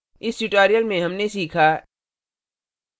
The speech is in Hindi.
इस tutorial में हमने सीखा